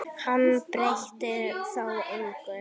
Hann breytti þó engu.